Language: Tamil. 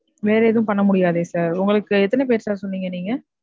வேற எதும் பண்ணமுடியாதே sir உங்களுக்கு எத்தன பேர் sir சொன்னிங்க நீங்க?